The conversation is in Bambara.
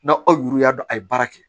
Na aw yuru y'a dɔn a ye baara kɛ